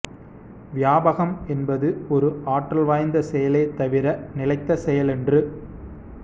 வியாபகம் என்பது ஒரு ஆற்றல் வாய்ந்த செயலே தவிர நிலைத்த செயலன்று